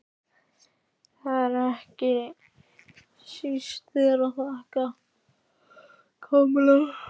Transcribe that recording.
Og það er ekki síst þér að þakka, Kamilla.